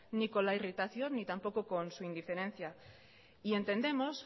ni con la irritación ni tampoco con su indiferencia y entendemos